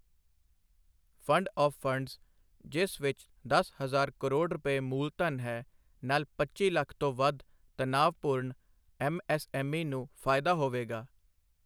Fund of funds, ਜਿਸ ਵਿੱਚ ਦਸ ਹਜ਼ਾਰ ਕਰੋੜ ਰੁਪਏ ਮੂਲਧਨ ਹੈ, ਨਾਲ ਪੱਚੀ ਲੱਖ ਤੋਂ ਵੱਧ ਤਣਾਅਪੂਰਨ ਐੱਮਐੱਸਐੱਮਈ ਨੂੰ ਫਾਇਦਾ ਹੋਵੇਗਾ।